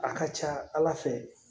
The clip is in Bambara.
A ka ca ala fɛ